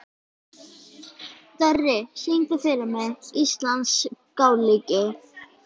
Dorri, syngdu fyrir mig „Íslandsgálgi“.